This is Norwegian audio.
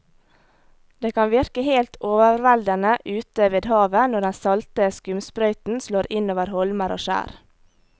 Det kan virke helt overveldende ute ved havet når den salte skumsprøyten slår innover holmer og skjær.